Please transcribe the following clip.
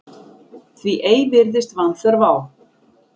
Því ei virðist vanþörf á